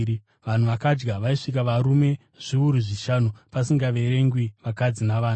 Vanhu vakadya vaisvika varume zviuru zvishanu pasingaverengwi vakadzi navana.